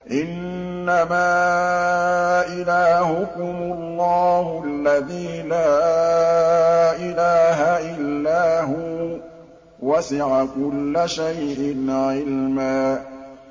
إِنَّمَا إِلَٰهُكُمُ اللَّهُ الَّذِي لَا إِلَٰهَ إِلَّا هُوَ ۚ وَسِعَ كُلَّ شَيْءٍ عِلْمًا